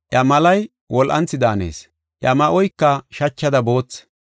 Iya malay wol7anthi daanees. Iya ma7oyka shachada boothi.